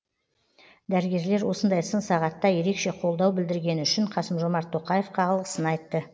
дәрігерлер осындай сын сағатта ерекше қолдау білдіргені үшін қасым жомарт тоқаевқа алғысын айтты